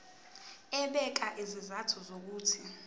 ebeka izizathu zokuthi